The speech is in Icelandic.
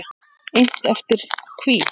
Innt eftir: Hví?